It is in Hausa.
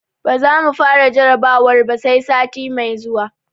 Ba za mu fara jarrabawar ba, sai sati mai zuwa.